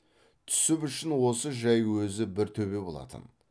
түсіп үшін осы жай өзі бір төбе болатын